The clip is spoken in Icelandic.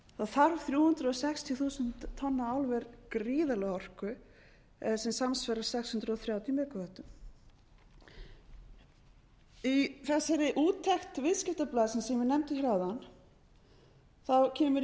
þarf þrjú hundruð sextíu þúsund tonna álver gríðarlega orku sem samsvarar sex hundruð þrjátíu megavöttum í þessari úttekt viðskiptablaðsins sem ég nefndi hér áðan kemur